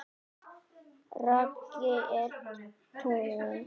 Raggi er tíu.